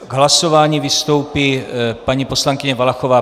K hlasování vystoupí paní poslankyně Valachová.